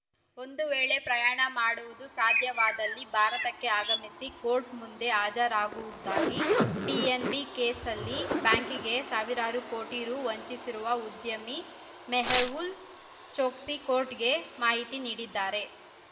ಒಂದು ವೇಳೆ ಪ್ರಯಾಣ ಮಾಡುವುದು ಸಾಧ್ಯವಾದಲ್ಲಿ ಭಾರತಕ್ಕೆ ಆಗಮಿಸಿ ಕೋರ್ಟ್‌ ಮುಂದೆ ಹಾಜರಾಗುವುದಾಗಿ ಪಿಎನ್‌ಬಿ ಕೇಸಲ್ಲಿ ಬ್ಯಾಂಕಿಂಗೆ ಸಾವಿರಾರು ಕೋಟಿ ರು ವಂಚಿಸಿರುವ ಉದ್ಯಮಿ ಮೇಹುಲ್‌ ಚೋಕ್ಸಿ ಕೋರ್ಟ್‌ಗೆ ಮಾಹಿತಿ ನೀಡಿದ್ದಾರೆ